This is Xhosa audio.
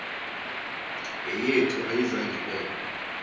yeyethu ayizang ibekho